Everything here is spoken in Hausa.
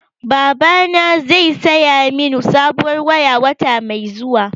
Babana zai saya min sabuwar waya, wata mai zuwa.